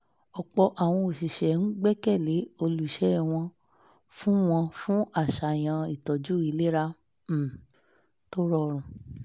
ọ̀pọ̀ àwọn oṣiṣẹ́ ń gbẹ́kẹ̀ lé olúṣẹ́ wọn fún wọn fún àṣàyàn ìtọju ìlera um tó rọrùn